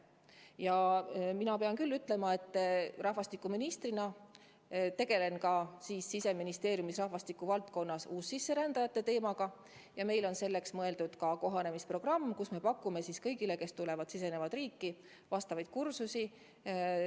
Ja mina pean küll ütlema, et rahvastikuministrina tegelen ma Siseministeeriumis ka uussisserändajate teemaga ja meil on olemas kohanemisprogramm, mille abil me pakume kõigile, kes tulevad meie riiki, vastavaid kursusi.